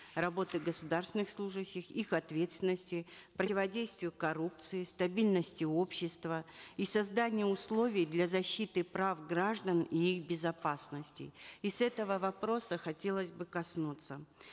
работы государственных служащих их ответственности противодействию коррупции стабильности общества и созданию условий для защиты прав граждан и их безопасности и с этого вопроса хотелось бы коснуться